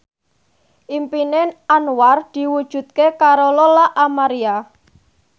impine Anwar diwujudke karo Lola Amaria